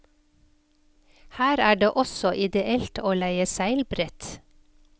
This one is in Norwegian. Her er det også ideelt å leie seilbrett.